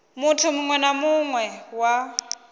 muthu muwe na muwe wa